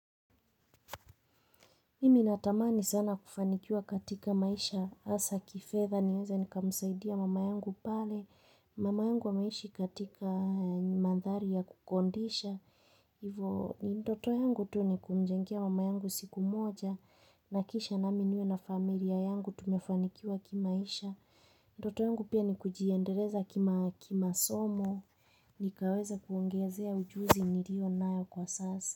Mimi natamaa nizana kufanikua katika maisha, hasa kifedha niweze nikamsaidia mama yangu pale, mama yangu ameishi katika mandhari ya kukondisha, ivo, ndoto yangu tu ni kumjengia mama yangu siku moja, nakisha na minuwe na familia yangu tumefanikua kimaisha, ndoto yangu pia ni kujiendereza kima somo, nikaweza kuongezea ujuzi nilio nayo kwa sasa.